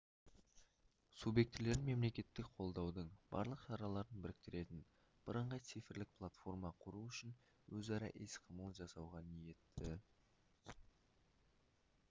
субъектілерін мемлекеттік қолдаудың барлық шараларын біріктіретін бірыңғай цифрлық платформа құру үшін өзара іс-қимыл жасауға ниетті